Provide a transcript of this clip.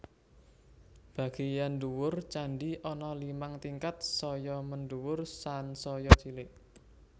Bagéyan ndhuwur candhi ana limang tingkat saya mendhuwur sansaya cilik